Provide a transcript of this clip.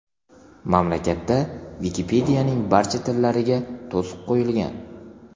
Mamlakatda Wikipedia’ning barcha tillariga to‘siq qo‘yilgan.